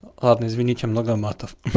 ладно извините много матов